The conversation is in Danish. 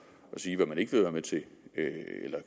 at sige hvad man ikke vil være med til